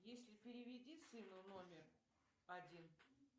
если переведи сыну номер один